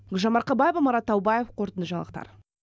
гүлжан марқабаева марат таубаев қорытынды жаңалықтар